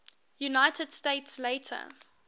united states later